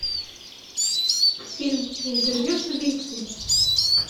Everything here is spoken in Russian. фильм интервью с убийцей